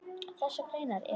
Þessar greinar eru